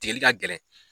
Tigɛli ka gɛlɛn